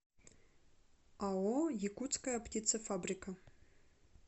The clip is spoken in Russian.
ао якутская птицефабрика